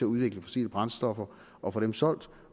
udvikle fossile brændstoffer og få dem solgt